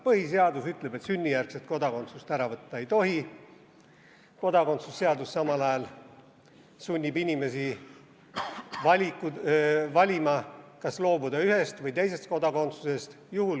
Põhiseadus ütleb, et sünnijärgset kodakondsust ära võtta ei tohi, kodakondsuse seadus samal ajal sunnib inimesi valima, kas loobuda ühest või teisest kodakondsusest.